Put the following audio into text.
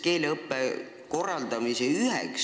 Kui oli, siis kui tõsiselt?